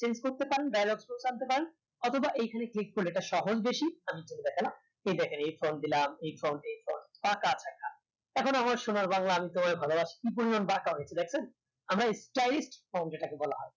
chenge করতে পারেন অথবা এইখানে click করলে এটা